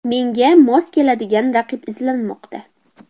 Menga mos keladigan raqib izlanmoqda.